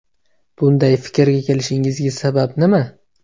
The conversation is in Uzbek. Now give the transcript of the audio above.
Bunday fikrga kelishingizga sabab nima?